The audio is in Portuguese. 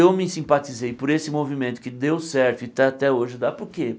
Eu me simpatizei por esse movimento que deu certo e está até hoje dá por quê?